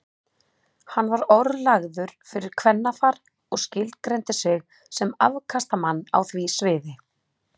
Hann var orðlagður fyrir kvennafar og skilgreindi sig sem afkastamann á því sviði.